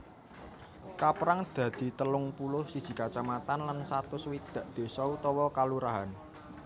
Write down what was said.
Kapérang dadi telung puluh siji kacamatan lan satus swidak désa utawa kalurahan